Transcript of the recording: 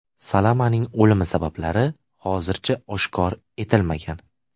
Salamaning o‘limi sabablari hozircha oshkor etilmagan.